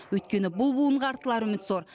өйткені бұл буынға артылар үміт зор